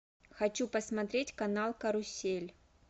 хочу посмотреть канал карусель